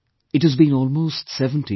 It has been almost 70 years